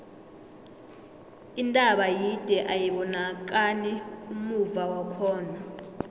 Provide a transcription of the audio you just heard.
intaba yide ayibonakani ummuva wakhona